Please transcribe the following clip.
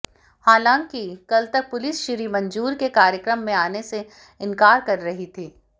हालांकि कल तक पुलिस श्री मंजूर के कार्यक्रम में आने से इनकार कर रही थी